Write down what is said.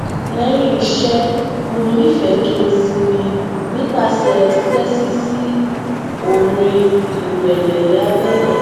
léyìn iṣé mo nifẹẹ kí n sinmi nipasẹ titẹtí sí orin irẹlẹ labẹlẹ